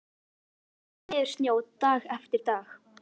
Það kyngdi niður snjó dag eftir dag.